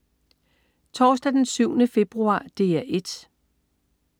Torsdag den 7. februar - DR 1: